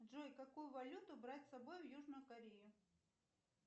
джой какую валюту брать с собой в южную корею